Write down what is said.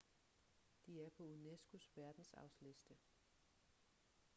de er på unesco's verdensarvsliste